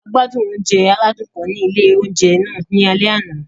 A gbádùn oúnjẹ aládùn kan ni ilé oúnjẹ náà ní alẹ́ àná.